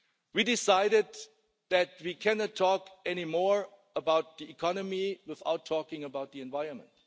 We decided that we cannot talk anymore about the economy without talking about the environment.